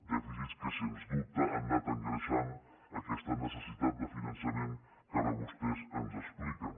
dèficits que sens dubte han anat engreixant aquesta necessitat de finançament que ara vostès ens expliquen